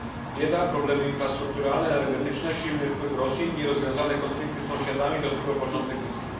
Bieda, problemy infrastrukturalne, energetyczne, silny wpływ Rosji, nierozwiązane konflikty z sąsiadami to tylko początek listy.